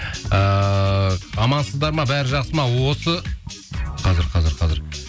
ііі амансыздар ма бәрі жақсы ма осы қазір қазір қазір